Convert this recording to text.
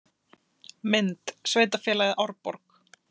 Mynd: Sveitarfélagið Árborg.